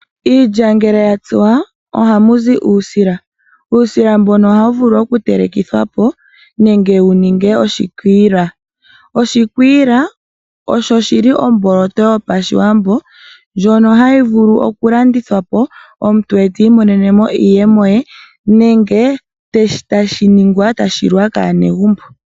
Iilya ngele yatsuwa ohamu zi uusila. Uusila mbono ohaku vulu okutelekithwa po nenge wu ningwe oshikwiila. Oshikwiila osho shili oomboloto yopashiwambo ndjono hayi vulu okulandithwa po omuntu te I monene mo iiyemo ye nenge tashi ningwa e tashi li wa kaanegumbo.